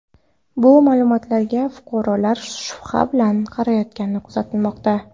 Bu ma’lumotlarga fuqarolar shubha bilan qarayotgani kuzatilmoqda.